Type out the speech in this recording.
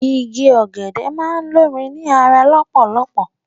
Igi ọ̀gẹ̀dẹ̀ máa ń lomi ni ara lọpọlọpọ